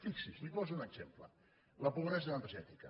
fixi’s li poso un exemple la pobresa energètica